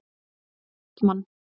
Kristmann